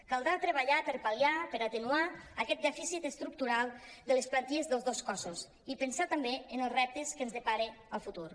caldrà treballar per pal·liar per atenuar aquest dè·ficit estructural de les plantilles dels dos cossos i pensar també en els reptes que ens depara el futur